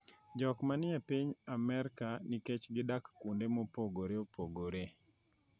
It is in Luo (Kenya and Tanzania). jokma ni e piny Amerka nikech gidak kuonde mopogore opogore